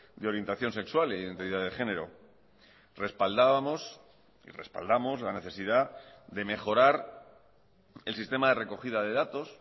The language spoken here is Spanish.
de orientación sexual e identidad de género respaldábamos y respaldamos la necesidad de mejorar el sistema de recogida de datos